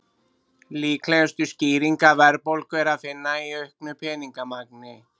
Líklegustu skýringu verðbólgu er að finna í auknu peningamagni.